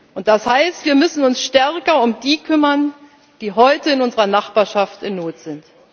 Und das heißt, wir müssen uns stärker um die kümmern, die heute in unserer Nachbarschaft in Not